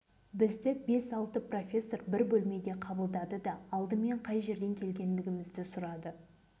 енді міне одан да қалды солардың қайғысынан өзім де ауру болатын түрім бар үлкен баламды павлодар